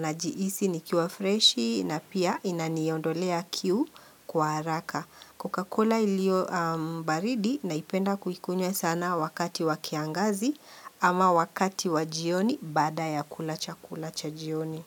najihisi ni kiwa freshi na pia inaniondolea kiu. Kwa haraka. Coca-Cola ilio baridi naipenda kuikunywa sana wakati wa kiangazi ama wakati wa jioni baada ya kulachakula cha jioni.